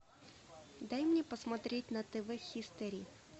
дай мне посмотреть на тв хистори